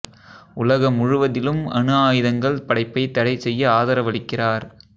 உலக முழுவதிலும் அணு ஆயுதங்கள் படைப்பை தடை செய்ய ஆதரவளிக்கிறார்